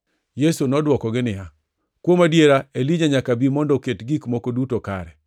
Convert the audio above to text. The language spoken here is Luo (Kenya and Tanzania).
Yesu nodwokogi niya, “Kuom adiera, Elija nyaka bi mondo oket gik moko duto kare.